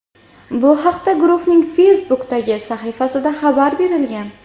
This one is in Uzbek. Bu haqda guruhning Facebook’dagi sahifasida xabar berilgan .